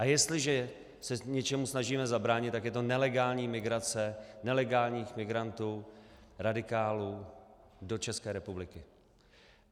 A jestliže se něčemu snažíme zabránit, tak je to nelegální migrace nelegálních migrantů, radikálů, do České republiky.